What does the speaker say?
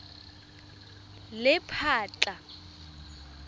lephatla